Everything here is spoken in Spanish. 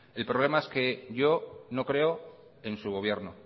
el problema es que yo no creo en su gobierno